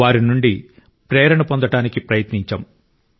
వారి నుండి ప్రేరణ పొందటానికి ప్రయత్నించాం